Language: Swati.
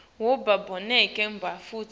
wabo bonkhe bantfu